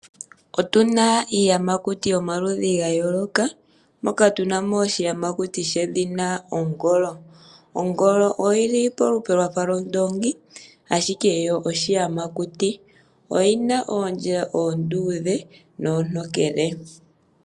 Otu na iiyamakuti yomaludhi ga yooloka, moka tu na mo oshiyamakuti shedhina ongolo. Ongolo oyi li palupe lwa fa lwondoongi, ashike yo oshiyamakuti. Oyi na oondjila oondudhe nooontokele.